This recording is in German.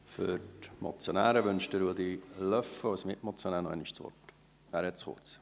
Für die Motionäre wünscht Ruedi Löffel als Mitmotionär noch einmal das Wort.